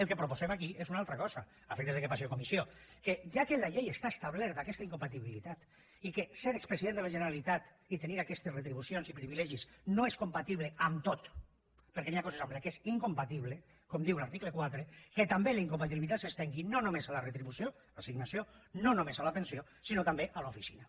el que proposem aquí és una altra cosa a efectes que passi a comissió que ja que a la llei està establerta aquesta incompatibilitat i que ser expresident de la generalitat i tenir aquestes retribucions i privilegis no és compatible amb tot perquè hi ha coses amb què és incompatible com diu l’article quatre que també la incompatibilitat s’estengui no només a la retribució l’assignació no només a la pensió sinó també a l’oficina